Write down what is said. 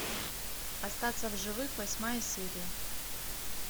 остаться в живых восьмая серия